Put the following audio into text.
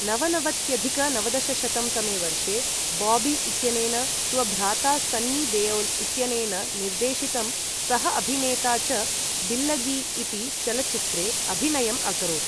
नवनवत्यधिक नवदशशतं तमे वर्षे बॉबी इत्यनेन स्वभ्राता सन्नी देओल इत्यनेन निर्देशितं सह अभिनेता च डिल्लगी इति चलच्चित्रे अभिनयम् अकरोत् ।